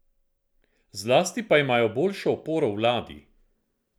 Zlasti pa ima boljšo oporo v vladi.